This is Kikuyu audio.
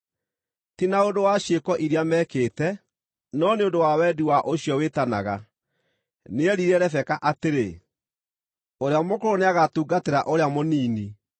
ti na ũndũ wa ciĩko iria mekĩte, no nĩ ũndũ wa wendi wa ũcio wĩtanaga, nĩerire Rebeka atĩrĩ, “Ũrĩa mũkũrũ nĩagatungatĩra ũrĩa mũnini.”